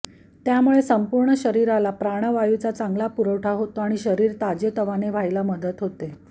त्यामुळे संपूर्ण शरीराला प्राणवायूचा चांगला पुरवठा होतो आणि शरीर ताजे तवाने व्हायला मदत होते